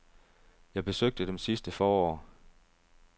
Jeg besøgte dem sidste forår.